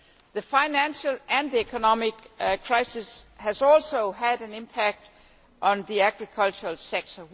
The financial and economic crisis has also had an impact on the agricultural sector.